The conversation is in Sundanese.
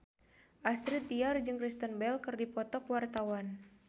Astrid Tiar jeung Kristen Bell keur dipoto ku wartawan